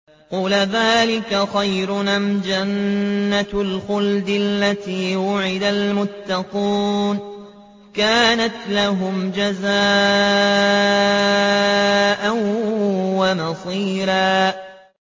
قُلْ أَذَٰلِكَ خَيْرٌ أَمْ جَنَّةُ الْخُلْدِ الَّتِي وُعِدَ الْمُتَّقُونَ ۚ كَانَتْ لَهُمْ جَزَاءً وَمَصِيرًا